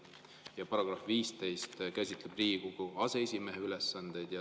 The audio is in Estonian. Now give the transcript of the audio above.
Ja § 15 käsitleb Riigikogu aseesimehe ülesandeid.